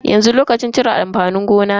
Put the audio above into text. Yanzu lokacin cire amfanin gona ne.